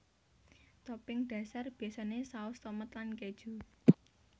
Topping dhasar biasané saus tomat lan kéju